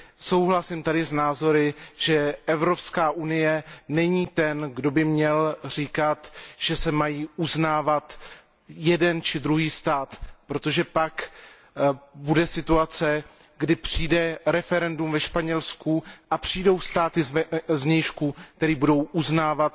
Souhlasím tedy s názory, že Evropská unie není ten, kdo by měl říkat, že se má uznávat jeden či druhý stát, protože pak nastane situace, kdy přijde referendum ve Španělsku a přijdou státy z vnějšku, které budou uznávat